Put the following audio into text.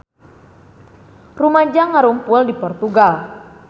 Rumaja ngarumpul di Portugal